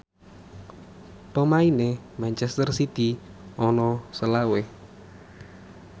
pemaine manchester city ana selawe